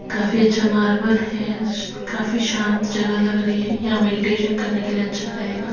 काफी अच्छा मार्बल है काफी शांत जगह लग रही है यहां मेडिटेशन करने के लिए अच्छा रहेगा--